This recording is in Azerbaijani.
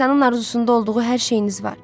İnsanın arzusunda olduğu hər şeyiniz var.